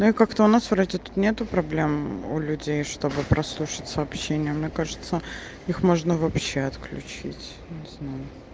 но и как-то у нас вроде тут нету проблем у людей чтобы прослушать сообщение мне кажется их можно вообще отключить не знаю